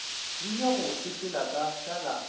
rile go sepela ka šala